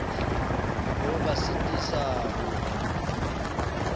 le ho ba sitisa ho